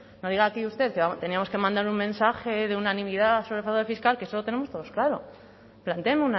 entonces no diga aquí usted que teníamos que mandar un mensaje de unanimidad sobre fraude fiscal que eso lo tenemos todos claro planteen